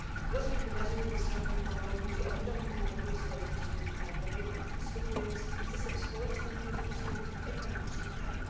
Rozwój wydarzeń we wschodnim Kongu budzi ogromny niepokój społeczności międzynarodowej, skutkując kryzysem społecznym, politycznym i ekonomicznym kraju.